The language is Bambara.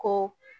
Ko